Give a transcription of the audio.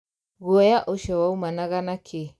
Guoya ũcio waumanaga na kĩĩ?